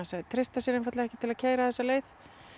treysta sér einfaldlega ekki til að keyra þessa leið